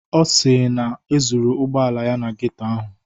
Ọ si na e zuru ụgbọala ya na geto ahụ.